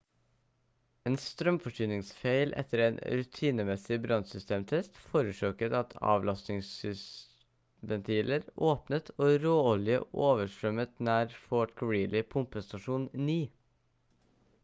en strømforsyningsfeil etter en rutinemessig brannsystemtest forårsaket at avlastingsventiler åpnet og råolje overstrømmet nær fort greely pumpestasjon 9